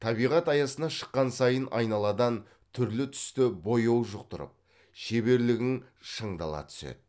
табиғат аясына шыққан сайын айналадан түрлі түсті бояу жұқтырып шеберлігің шыңдала түседі